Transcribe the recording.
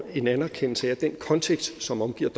en anerkendelse af at den kontekst som omgiver